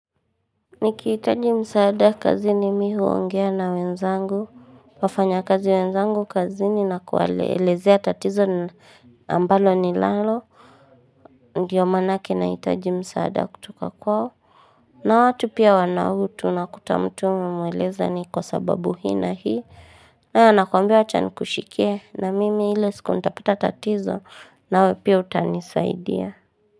Nikihitaji msaada kazini mimi huongea na wenzangu wafanyakazi wenzangu kazi ni na kuwaelezea tatizo ambalo ninalo Ndiyo maanake nahitaji msaada kutoka kwao na watu pia wana utu unakuta mtu umemweleza ni kwa sababu hii na hii naye anakuambia acha nikushikie na mimi ile siku utapita tatizo nawe pia utanisaidia.